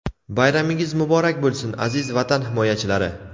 Bayramingiz muborak bo‘lsin, aziz vatan himoyachilari!.